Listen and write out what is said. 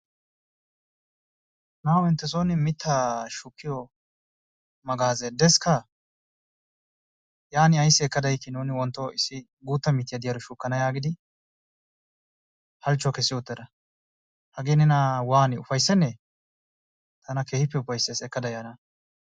Na'awu inttesoon mittaa shukkiyo magaazzee deskka? Yaanin ayssi ekkada yiikii nuun wontto issi guutta mittiya diyaaro shukkana yaagidi halchchuwa kessi uttida, hagee nena waani ufayssennee! Tana keehippe ufayssees ekkada yaana.